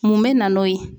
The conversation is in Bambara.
Mun bɛ na n'o ye